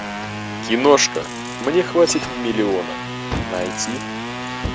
киношка мне хватит миллиона найти